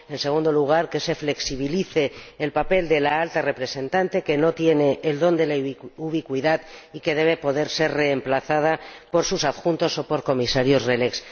y, en segundo lugar, que se flexibilice el papel de la Alta Representante, que no tiene el don de la ubicuidad y que debe poder ser reemplazada por sus adjuntos o por Comisarios RELEX.